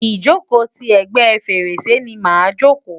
ìjòkó ti ègbé fèrèsé ni màa jòkó.